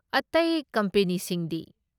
ꯑꯇꯩ ꯀꯝꯄꯦꯅꯤꯁꯤꯡꯗꯤ?